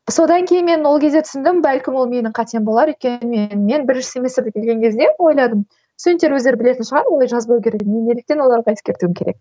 содан кейін мен ол кезде түсіндім бәлкім ол менің қатем болар өйткені мен бірінші семестрде келген кезде ойладым студенттер өздері білетін шығар олай жазбау керегін неліктен мен оларға ескертуім керек